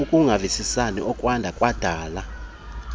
ukungavisisani okwada kwadala